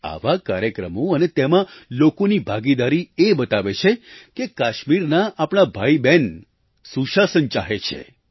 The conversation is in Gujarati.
આવા કાર્યક્રમો અને તેમાં લોકોની ભાગીદારી એ બતાવે છે કે કાશ્મીરનાં આપણાં ભાઈબહેન સુશાસન ચાહે છે